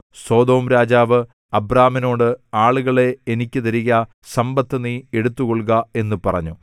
സൊദോംരാജാവ് അബ്രാമിനോട് ആളുകളെ എനിക്ക് തരിക സമ്പത്ത് നീ എടുത്തുകൊള്ളുക എന്നു പറഞ്ഞു